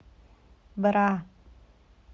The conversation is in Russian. бра